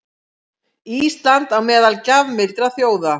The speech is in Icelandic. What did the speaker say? Ísland á meðal gjafmildra þjóða